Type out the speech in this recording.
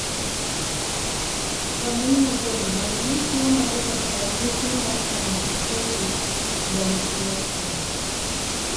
Rameny mar dend dhano chiwo magi kaka ranyisi mar thanatophoric dysplasia